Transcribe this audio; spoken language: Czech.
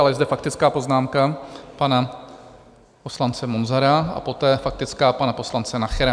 Ale je zde faktická poznámka pana poslance Munzara a poté faktická pana poslance Nachera.